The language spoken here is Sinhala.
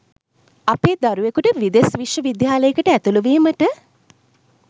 අපේ දරුවෙකුට විදෙස් විශ්ව විද්‍යාලයකට ඇතුළු වීමට